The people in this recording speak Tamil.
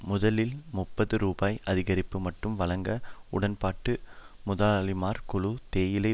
முதலில் முப்பது ரூபாய் அதிகரிப்பு மட்டும் வழங்க உடன்பட்ட முதலாளிமார் குழு தேயிலை